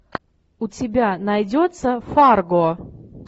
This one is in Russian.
у тебя найдется фарго